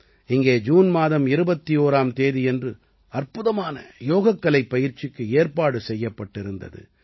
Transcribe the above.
இங்கே ஜூன் மாதம் 21ஆம் தேதியன்று அற்புதமான யோகக்கலைப் பயிற்சிக்கு ஏற்பாடு செய்யப்பட்டிருந்தது